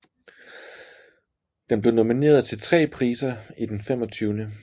Den blev nomineret til tre priser i Den 25